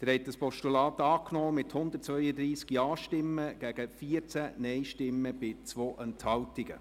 Sie haben das Postulat angenommen mit 132 Ja- zu 14 Nein-Stimmen bei 2 Enthaltungen.